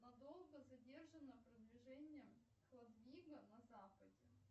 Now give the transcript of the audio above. надолго задержано продвижение хлодвига на западе